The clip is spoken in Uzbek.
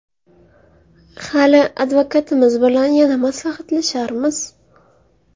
Hali advokatimiz bilan yana maslahatlasharmiz.